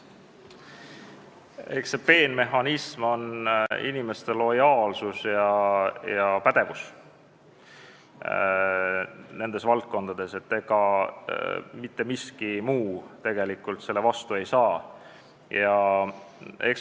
Eks see peenmehhanism ole inimeste lojaalsus ja pädevus nendes valdkondades, mitte miski muu tegelikult selle vastu ei saa.